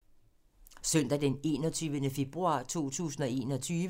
Søndag d. 21. februar 2021